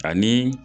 Ani